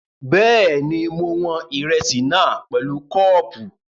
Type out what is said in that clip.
Bẹ́ẹ̀ni, mo wọn ìrẹsì náà pẹ̀lú kọ́ọ̀pù